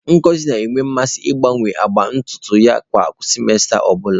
Ngosi na-enwe mmasị ịgbanwe agba ntutu ya kwa simesita ọ bụla.